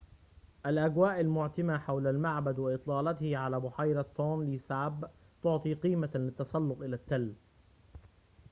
الأجواء المعتمة حول المعبد وإطلالته على بحيرة تونلي ساب تعطي قيمة للتسلق إلى التل